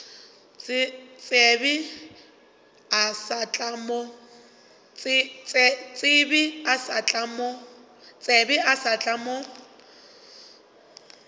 tsebe o sa tla mo